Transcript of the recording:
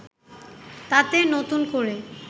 তাতে নতুন করে